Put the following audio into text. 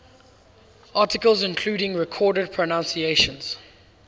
articles including recorded pronunciations